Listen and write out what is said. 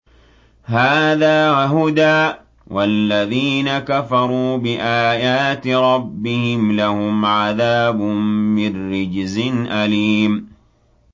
هَٰذَا هُدًى ۖ وَالَّذِينَ كَفَرُوا بِآيَاتِ رَبِّهِمْ لَهُمْ عَذَابٌ مِّن رِّجْزٍ أَلِيمٌ